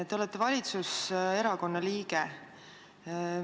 Te olete valitsuserakonna liige.